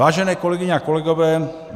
Vážené kolegyně a kolegové.